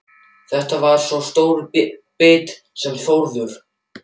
Þetta var sá stóri biti sem Þórður